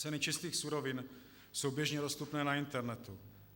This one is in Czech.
Ceny čistých surovin jsou běžně dostupné na internetu.